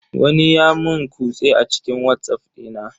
Wani ya mun kutse a cikin watsaff dina.